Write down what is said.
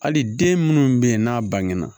Hali den minnu bɛ yen n'a bangenna